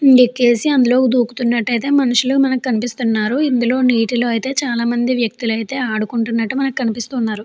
అందులో దూకుతున్నట్టు అయితే మనుషులు కనిపిజస్తునారు. ఇందులో నీటిలో అయితే చాలామంది వ్యక్తులు అయితే ఆడుకుంటున్నట్టు మనకు కనిపిస్తున్నారు.